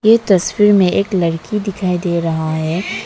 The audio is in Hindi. ये तस्वीर में एक लड़की दिखाई दे रहा है।